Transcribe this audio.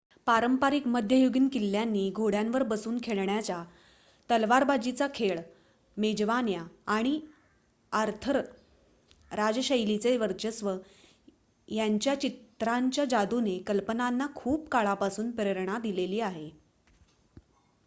पारंपारिक मध्ययुगीन किल्ल्यांनी घोड्यावर बसून खेळण्याचा तलवारबाजीचा खेळ मेजवान्या आणि आर्थर राज्यशैलीचे वर्चस्व यांच्या चित्रांच्या जादूने कल्पनांना खूप काळापासून प्रेरणा दिलेली आहे